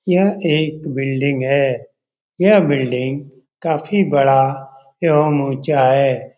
यह एक बिल्डिंग है यह बिल्डिंग काफी बड़ा एवं ऊंचा है।